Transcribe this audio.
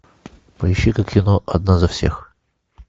поищи ка кино одна за всех